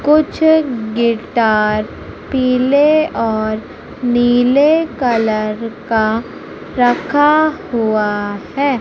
कुछ गिटार पीले और नीले कलर का रखा हुआ है।